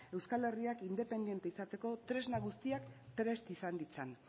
euskal herriak independente izateko tresna guztiak prest izan ditzan